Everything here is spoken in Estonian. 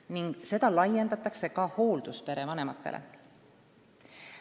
Ning seda laiendatakse ka hoolduspere vanematele.